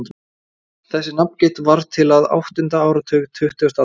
Þessi nafngift varð til á áttunda áratug tuttugustu aldar.